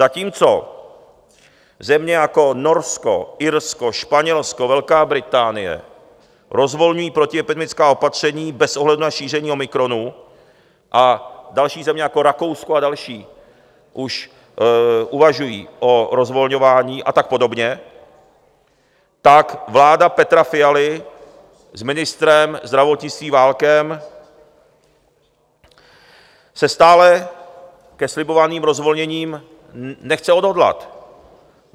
Zatímco země jako Norsko, Irsko, Španělsko, Velká Británie rozvolňují protiepidemická opatření bez ohledu na šíření omikronu a další země jako Rakousko a další už uvažují o rozvolňování a tak podobně, tak vláda Petra Fialy s ministrem zdravotnictví Válkem se stále ke slibovaným rozvolněním nechce odhodlat.